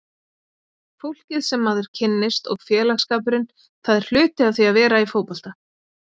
Fólkið sem maður kynnist og félagsskapurinn, það er hluti af því að vera í fótbolta.